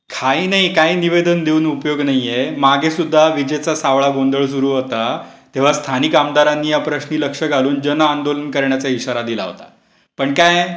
काही नाही काही निवेदन देऊन उपयोग नाहीये. मागे सुद्धा विजेचा सावळा गोंधळ सुरू होता. तेव्हा स्थानिक आमदारांनी या प्रश्नी लक्ष घालून जन आंदोलन करण्याचा इशारा दिला होता. पण काय? तरी